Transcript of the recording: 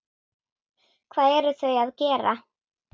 Hvað eru þau að gera?